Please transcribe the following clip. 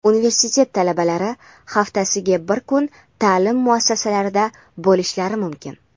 Universitet talabalari haftasiga bir kun ta’lim muassasalarida bo‘lishlari mumkin.